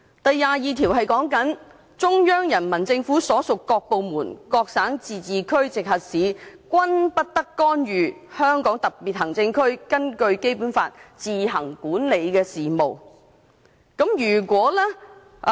第二十二條訂明："中央人民政府所屬各部門、各省、自治區、直轄市均不得干預香港特別行政區根據本法自行管理的事務。